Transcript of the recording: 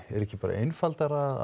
er ekki einfaldara